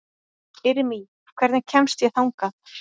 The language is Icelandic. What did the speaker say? Irmý, hvernig kemst ég þangað?